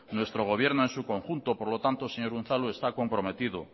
nuestro gobierno en su conjunto por lo tanto señor unzalu está comprometido